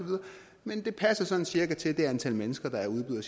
men det passer sådan cirka til det antal mennesker der udbyder